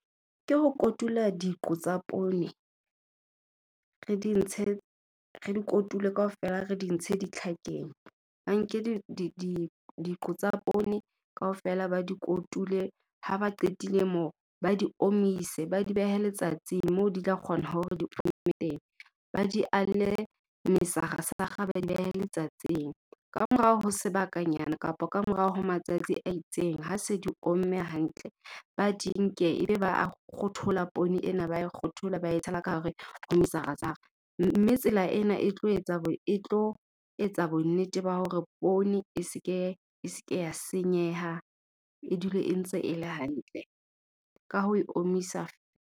Ke ho kotula diqo tsa poone re di ntshe, re di kotule kaofela re di ntshe ditlhakeng. Ba nke diqo tsa poone kaofela ba di kotule, ha ba qetile moo ba di omise, ba di behe letsatsi moo di tla kgona hore di ome teng. Ba mesarasara ba di behe letsatsing. Kamorao ho sebakanyana kapa kamorao ho matsatsi a itseng ha se di omme hantle, ba di nke ebe ba a kgothola poone ena, ba e kgothola ba e tshela ka hare ho mesarasara. Mme tsela ena e tlo etsa , e tlo etsa bonnete ba hore poone e se ke ya senyeha e dule e ntse e le hantle ka ho e omisa.